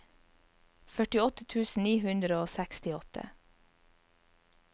førtiåtte tusen ni hundre og sekstiåtte